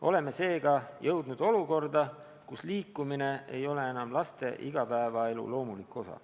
Oleme seega jõudnud olukorda, kus liikumine ei ole enam laste igapäevaelu loomulik osa.